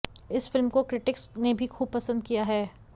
इस फिल्म को क्रिटिक्स ने भी खूब पसंद किया है